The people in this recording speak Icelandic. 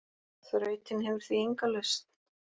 Þrautin hefur því enga lausn.